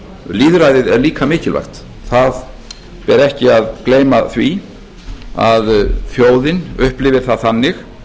lýðræðið er líka mikilvægt það ber ekki að gleyma því að þjóðin upplifir það þannig